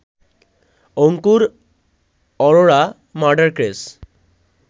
Ankur Arora murder case